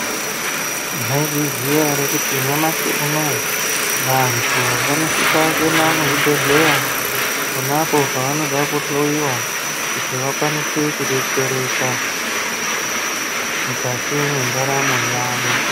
Maizviziya ere kuti nyamashi unowu vantu vanosisa kuenda muzvibhedhlera ponapo pavanoda kuhloyiwa kuti vakwanise kudetsereka mukati mwendaramo yavo.